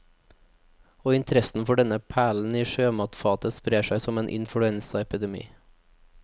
Og interessen for denne perlen i sjømatfatet sprer seg som en influensaepidemi.